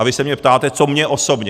A vy se mě ptáte, co mně osobně.